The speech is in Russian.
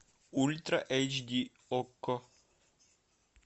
ультра эйч ди окко